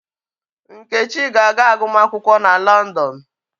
Nkechi ga-aga agumakwụkwọ na Londonụ.